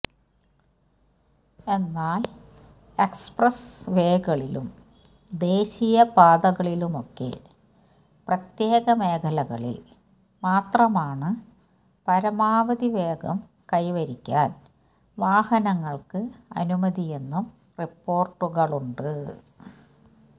എന്നാല് എക്സ്പ്രസ് വേകളിലും ദേശീയ പാതകളിലുമൊക്കെ പ്രത്യേക മേഖലകളിൽ മാത്രമാണു പരമാവധി വേഗം കൈവരിക്കാൻ വാഹനങ്ങൾക്ക് അനുമതിയെന്നും റിപ്പോര്ട്ടുകളുണ്ട്